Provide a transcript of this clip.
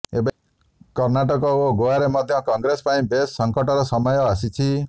ଏବେ କର୍ଣ୍ଣାଟକ ଓ ଗୋଆରେ ମଧ୍ୟ କଂଗ୍ରେସ ପାଇଁ ବେଶ୍ ସଂକଟର ସମୟ ଆସିଛି